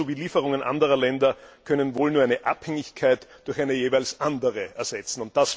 Nabucco sowie Lieferungen anderer Länder können wohl nur eine Abhängigkeit durch eine jeweils andere ersetzen.